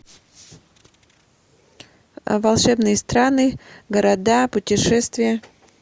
волшебные страны города путешествия